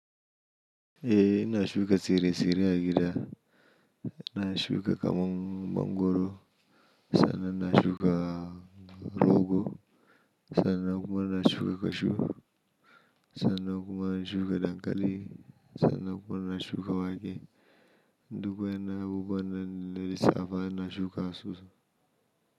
Eh, ina shuka tsire-tsire a gida. Na shuka kamong mangwaro, sannan na shuka rogo, sannan kuma na shuka kashu, sannan kuma na shuka dankali, sannan kuma na shuka wake. Dukkuwa yanayi guguwa na da nisafa, na shuka asusu.